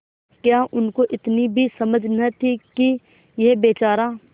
क्या उनको इतनी भी समझ न थी कि यह बेचारा